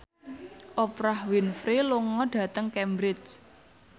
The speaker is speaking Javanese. Oprah Winfrey lunga dhateng Cambridge